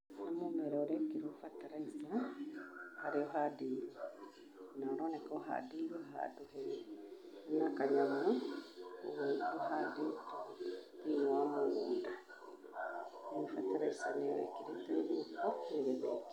Nĩ mũmera ũrekĩrwo bataraitha harĩa ũhandĩirwo, na ũroneka ũhandĩirwo handũ hena kanyamũ, ũguo ndũhandĩtwo thĩ-inĩ wa mũgũnda, rĩu bataraitha nĩyo ĩkĩrĩtwo guoko nĩgetha ĩkĩrwo